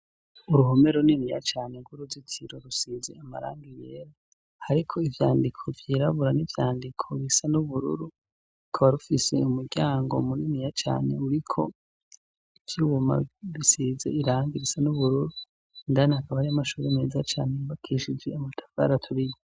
Uruhome runiniya cane rw'uruzitiro rusize amarangi yera hariko ivyandiko vyirabura n'ivyandiko bisa n'ubururu, rukaba rufise umuryango muniniya cane uriko ivyuma bisize irangi risa n'ubururu, indani hakaba hariyo amashuri meza cane yubakishije amatafari aturiye.